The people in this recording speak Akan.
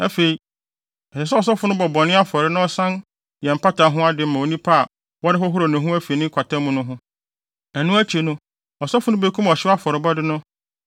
“Afei, ɛsɛ sɛ ɔsɔfo no bɔ bɔne afɔre na ɔsan yɛ mpata ho ade ma onipa a wɔrehohoro ne ho afi ne kwata mu no ho; ɛno akyi no, ɔsɔfo no bekum ɔhyew afɔrebɔde no